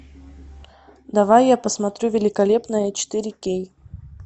давай я посмотрю великолепная четыре кей